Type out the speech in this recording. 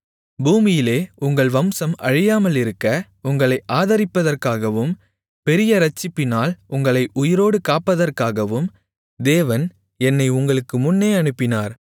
பூமியிலே உங்கள் வம்சம் அழியாமலிருக்க உங்களை ஆதரிப்பதற்காகவும் பெரிய ரட்சிப்பினால் உங்களை உயிரோடு காப்பதற்காகவும் தேவன் என்னை உங்களுக்கு முன்னே அனுப்பினார்